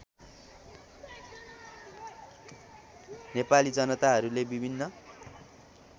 नेपाली जनताहरूले विभिन्न